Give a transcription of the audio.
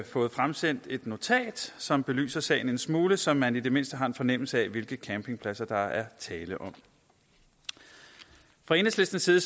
fået fremsendt et notat som belyser sagen en smule så man i det mindste har en fornemmelse af hvilke campingpladser der er tale om fra enhedslistens side